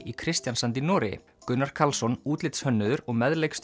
í Kristiansand í Noregi Gunnar Karlsson útlitshönnuður og